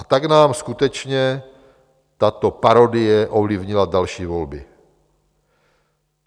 A tak nám skutečně tato parodie ovlivnila další volby.